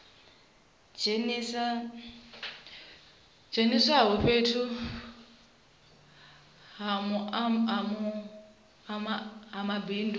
dzheniswaho fhethu ha mabindu une